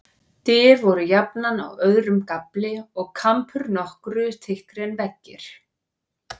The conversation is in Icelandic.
Dyr voru jafnan á öðrum gafli, og kampur nokkru þykkri en veggir.